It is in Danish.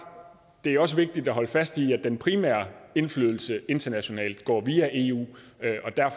det også er vigtigt at holde fast i at den primære indflydelse internationalt går via eu